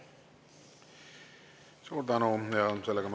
Suur tänu!